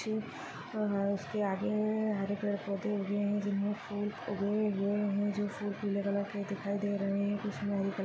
उसके आगे हरे कलर के पौधे उगे हुए है जिनमे फूल उगे हुए है जो फूल पिले कलर के दिखाइ दे रहे है उसमे हरे क--